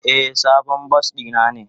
Eh, sabon bas na ne.